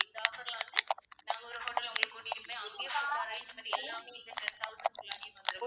இந்த offer ல வந்து நாங்க ஒரு hotel ல உங்களைக் கூட்டிட்டு போய்